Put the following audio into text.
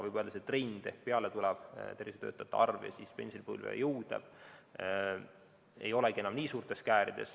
Võib öelda trendi kohta, et pealetulevate ja pensionipõlve jõudvate tervishoiutöötajate arvu vahel ei olegi enam nii suured käärid.